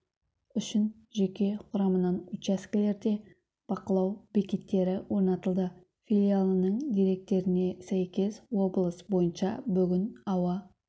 үшін жеке құрамынан учаскелерде бақылау бекеттері орнатылды филиалының деректеріне сәйкес облыс бойынша бүгін ауа